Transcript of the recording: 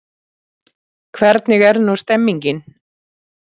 Hvernig er nú stemningin?